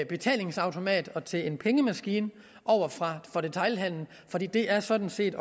betalingsautomat og til en pengemaskine for detailhandelen for det det er sådan set